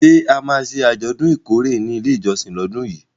Ṣé a máa ṣe àjọ̀dún ìkórè ní ilé ìjọsìn lọ́dún yìí?